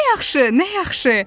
Nə yaxşı, nə yaxşı!